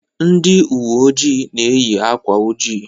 Ndị ụwe ojii na-eyị akwa ojii.